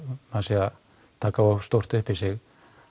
taka of stórt upp í sig